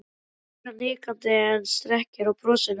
spyr hann hikandi en strekkir á brosinu.